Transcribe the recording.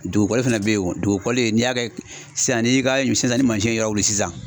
Dugukɔli fana bɛ yen o ,dugukɔli in n'i y'a kɛ sisan n'i ka sisan ni mansin ye yɔrɔ wuli sisan